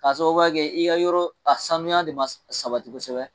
K'a sababuya kɛ i ka yɔrɔ a sanuya de ma sabati kosɛbɛ.